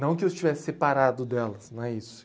Não que eu estivesse separado delas, não é isso.